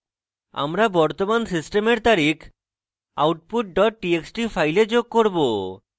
আমরা বর্তমান সিস্টেমের তারিখ output dot txt file যোগ করব